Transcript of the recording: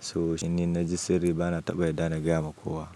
So in na ji sirri ba na taɓa yarda na gaya wa kowa.